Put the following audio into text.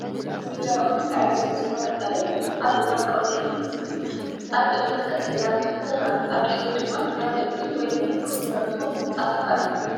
እዚ ደረቕን ሳዕሪ ዝበዝሖ ገጠርን ኣብ እዋን ቀውዒ ዝመስልን እዩ። ኣብ ቅድሚት ቀጠልያ ተኽሊ ይርአ። ኣብ ድሕሪት ድማ ካብ እምኒ/መሬት ዝተሰርሑ ህንጻታት ኣለዉ።